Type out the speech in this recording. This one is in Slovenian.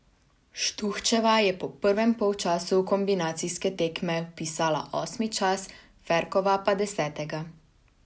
Štuhčeva je po prvem polčasu kombinacijske tekme vpisala osmi čas, Ferkova pa desetega.